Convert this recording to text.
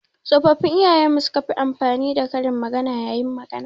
Tsofaffin iyayen mu su ka fi amfani da karin magana. yayin magana.